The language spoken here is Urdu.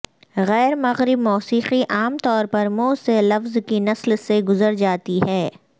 غیر مغرب موسیقی عام طور پر منہ سے لفظ کی نسل سے گزر جاتی ہے